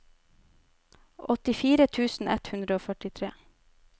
åttifire tusen ett hundre og førtitre